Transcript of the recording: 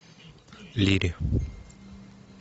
лири